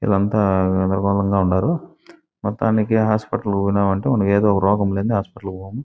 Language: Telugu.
విలంతా గదరగోళంగా ఉండారు మొత్తానికి హాస్పిటల్ కి పోయినం అంటే మనకి ఏదో ఒక రోగం లేనిది హాస్పిటల్ కి పోము --